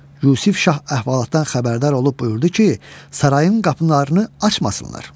Yusif şah əhvalatdan xəbərdar olub buyurdu ki, sarayın qapılarını açmasınlar.